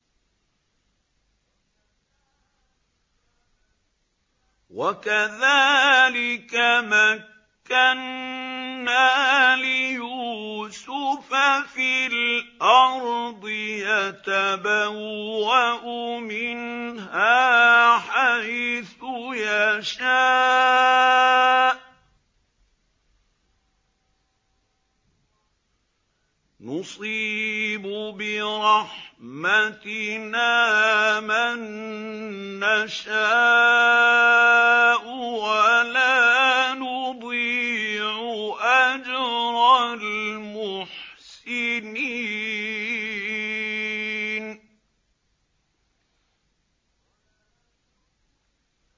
وَكَذَٰلِكَ مَكَّنَّا لِيُوسُفَ فِي الْأَرْضِ يَتَبَوَّأُ مِنْهَا حَيْثُ يَشَاءُ ۚ نُصِيبُ بِرَحْمَتِنَا مَن نَّشَاءُ ۖ وَلَا نُضِيعُ أَجْرَ الْمُحْسِنِينَ